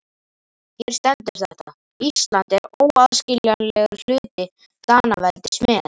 Hér stendur þetta: Ísland er óaðskiljanlegur hluti Danaveldis með.